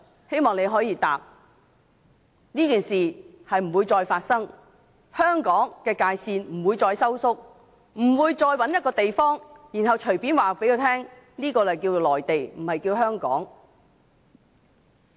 希望你可以回答，這件事不會再發生，香港的界線不會再收縮，不會再找一個地方，然後隨便告訴我們，這裏是內地，不是香港。